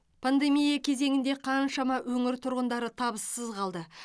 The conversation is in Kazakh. пандемия кезеңінде қаншама өңір тұрғындары табыссыз қалды